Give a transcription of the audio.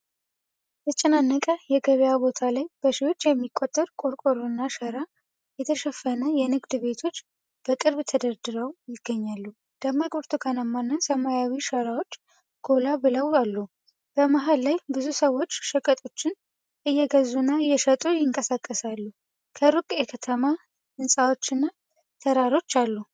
በተጨናነቀ የገበያ ቦታ ላይ በሺዎች የሚቆጠሩ ቆርቆሮና ሸራ የተሸፈኑ የንግድ ቤቶች በቅርብ ተደርድረው ይገኛሉ። ደማቅ ብርቱካናማና ሰማያዊ ሸራዎች ጎላ ብለው አሉ። በመሃል ላይ ብዙ ሰዎች ሸቀጦችን እየገዙና እየሸጡ ይንቀሳቀሳሉ። ከሩቅ የከተማ ህንጻዎችና ተራሮች አሉ።